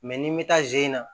n'i bɛ taa ze in na